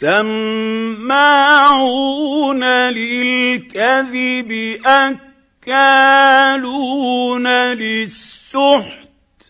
سَمَّاعُونَ لِلْكَذِبِ أَكَّالُونَ لِلسُّحْتِ ۚ